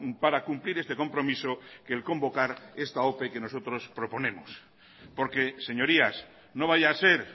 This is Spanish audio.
para cumplir este compromiso que el convocar esta ope que nosotros proponemos porque señorías no vaya a ser